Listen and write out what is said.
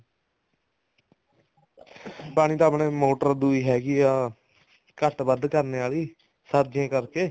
ਪਾਣੀ ਤਾਂ ਆਪਣੇ ਮੋਟਰ ਦੁਈ ਹੈਗੀ ਆ ਘੱਟ ਵੱਧ ਕਰਨ ਆਲੀ ਸਰਦੀਆਂ ਕਰਕੇ